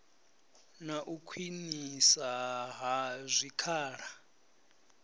na u khwiniswa ha zwikhala